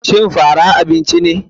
Shin fara abinci ne.